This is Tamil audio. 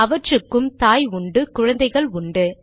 அவற்றுக்கு தாய் உண்டு குழந்தைகள் உண்டு